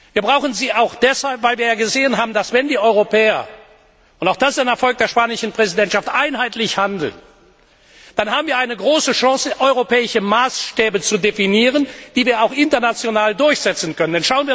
Wir brauchen sie auch deshalb, weil wir gesehen haben, wenn die Europäer und auch das ist ein Erfolg der spanischen Präsidentschaft einheitlich handeln, dann haben wir eine große Chance, europäische Maßstäbe zu definieren, die wir auch international durchsetzen können.